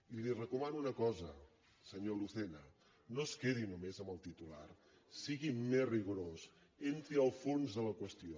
i li recomano una cosa senyor lucena no es quedi només amb el titular sigui més rigorós entri al fons de la qüestió